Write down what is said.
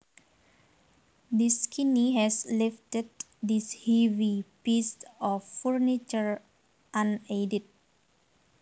This skinny has lifted this heavy piece of furniture unaided